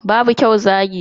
Babu kyau zagi.